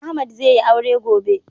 Ahmad zai yi aure gobe